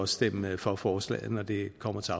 stemme for forslaget når det kommer til